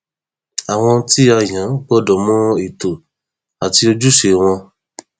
àwọn tí a yàn gbọdọ mọ ètò àti ojúṣe wọn